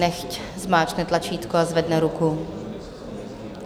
Nechť zmáčkne tlačítko a zvedne ruku.